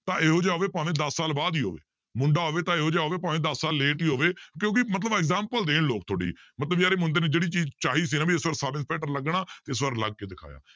ਤਾਂ ਇਹੋ ਜਿਹ ਹੋਵੇ ਭਾਵੇਂ ਦਸ ਸਾਲ ਬਾਅਦ ਹੀ ਹੋਵੇ ਮੁੰਡਾ ਹੋਵੇ ਤਾਂ ਇਹੋ ਜਿਹਾ ਹੋਵੇ ਭਾਵੇਂ ਦਸ ਸਾਲ late ਹੀ ਹੋਵੇ ਕਿਉਂਕਿ ਮਤਲਬ example ਦੇਣ ਲੋਕ ਤੁਹਾਡੀ ਮਤਲਬ ਯਾਰ ਇਹ ਮੁੰਡੇ ਨੇ ਜਿਹੜੀ ਚੀਜ਼ ਚਾਹੀ ਸੀ ਨਾ ਵੀ ਇਸ ਵਾਰ ਸਬ ਇੰਸਪੈਕਟਰ ਲੱਗਣਾ ਇਸ ਵਾਰ ਲੱਗ ਕੇ ਦਿਖਾਇਆ